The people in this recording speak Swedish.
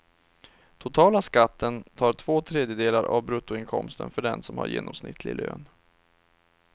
Totala skatten tar två tredjedelar av bruttoinkomsten för den som har genomsnittlig lön.